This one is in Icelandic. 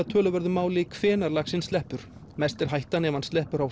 töluverðu máli hvenær laxinn sleppur mest er hættan ef hann sleppur á